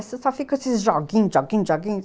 Vocês só ficam esses joguinhos, joguinhos, joguinhos.